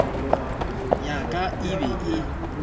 ya ka e be e